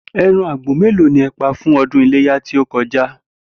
E̩ran àgbò mélòó ni e̩ pa fún o̩dún Iléyá tí ó ko̩já?